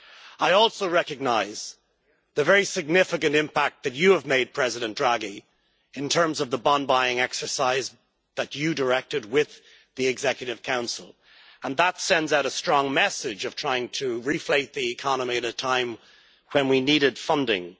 I also recognise the very significant impact that you have made, President Draghi, in terms of the bond buying exercise that you directed with the Governing Council, and that sends out a strong message of trying to reflate the economy at a time when we needed funding.